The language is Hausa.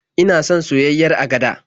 Ina son soyayyiyar agada.